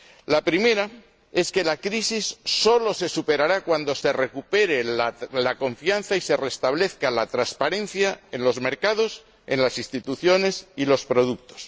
La primera es que la crisis solo se superará cuando se recupere la confianza y se restablezca la transparencia en los mercados, en las instituciones y en los productos.